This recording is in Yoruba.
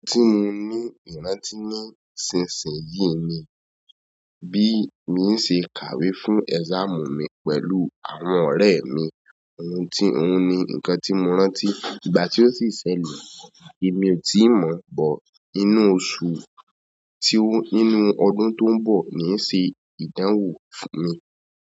Ohun tí mo ní ìrántí ní ṣinsin yìí ni bí mo ṣe kàwé fún exam mi pẹ̀lú àwọn ọ̀rẹ́ mi. Ohun tí ohun ni ǹkan rí mo rántí, ìgbà tí yio si ṣẹlẹ̀, èmi o ti mo inú oṣù tí ó, nínú ọdún tó ń bọ̀ ni n ṣe ìdánwò fún mi.